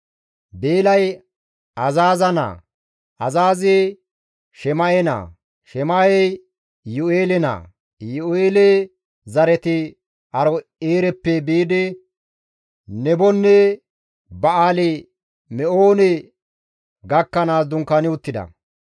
Beelay Azaaza naa; Azaazi Shema7e naa; Shema7ey Iyu7eele naa; Iyu7eele zareti Aaro7eereppe biidi Nebonne Ba7aali-Me7oone gakkanaas dunkaani uttida.